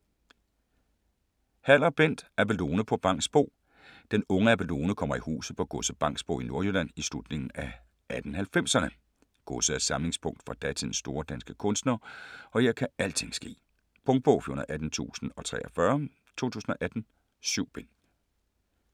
Haller, Bent: Abelone på Bangsbo Den unge Abelone kommer i huset på godset Bangsbo i Nordjylland i slutningen af 1890'erne. Godset er samlingspunkt for datidens store danske kunstnere og her kan alting ske. Punktbog 418043 2018. 7 bind.